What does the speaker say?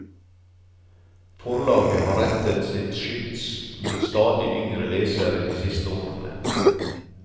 Forlaget har rettet sitt skyts mot stadig yngre lesere de siste årene.